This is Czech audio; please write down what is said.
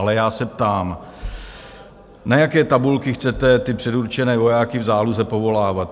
Ale já se ptám, na jaké tabulky chcete ty předurčené vojáky v záloze povolávat?